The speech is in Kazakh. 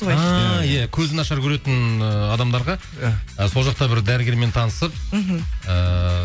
ааа иә көзі нашар көретін ыыы адамдарға сол жақта бір дәрігермен танысып мхм ыыы